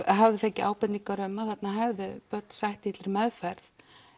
hafði fengið ábendingar um að þarna hefðu börn sætt illri meðferð